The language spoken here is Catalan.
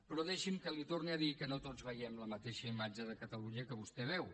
però deixi’m que li torni a dir que no tots veiem la mateixa imatge de catalunya que vostè veu